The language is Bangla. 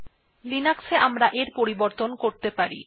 কিন্তু লিনাক্সে আমরা এটির পরিবর্তন করতে পারি